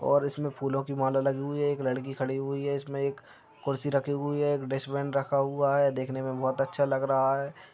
और इसमे फूलों की माला लगी हुई है एक लड़की खड़ी हुई है इसमे एक कुर्सी रखी हुई है एक डस्ट्बिन रखा हुआ है देखने मे बहुत अच्छा लगा रहा है।